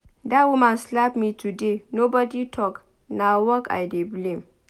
Dat woman slap me today nobody talk. Na work I dey blame.